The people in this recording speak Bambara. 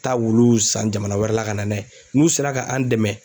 Taa wuluw san jamana wɛrɛ la ka na n'a ye n'u sera ka an' dɛmɛ